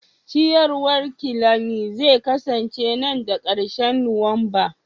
ciyawar kelani zai kasance nan da ƙarshen Nuwamba